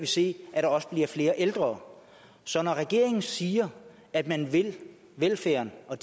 se at der også bliver flere ældre så når regeringen siger at man vil velfærden og